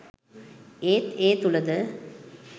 ඒත් ඒ තුළද